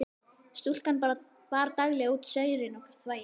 Stúlkan bar daglega út saurinn og þvagið.